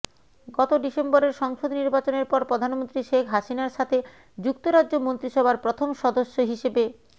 গত ডিসেম্বরের সংসদ নির্বাচনের পর প্রধানমন্ত্রী শেখ হাসিনার সাথে যুক্তরাজ্য মন্ত্রিসভার প্রথম সদস্য হিসেবে